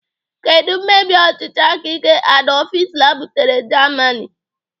Kedụ mmebi ọchịchị aka ike Adolf Hitler butere Germany?